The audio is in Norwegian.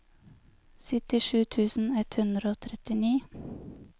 syttisju tusen ett hundre og trettini